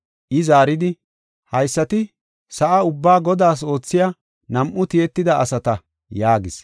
I zaaridi, “Haysati sa7a ubbaa Godaas oothiya nam7u tiyetida asata” yaagis.